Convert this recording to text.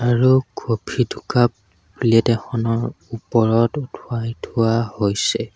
আৰু কফি দুকাপ প্লেট এখনৰ ওপৰত উঠাই থোৱা হৈছে।